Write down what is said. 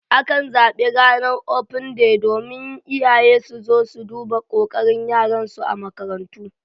Akan zaɓi Ranar Open Day domin iyaye su zo su duba kokarin yaran su a makarantu.